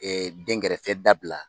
Ɛɛ dɛnkɛrɛfɛ dabila